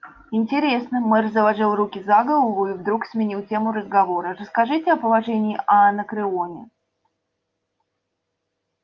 интересно мэр заложил руки за голову и вдруг сменил тему разговора расскажите о положении анакреоне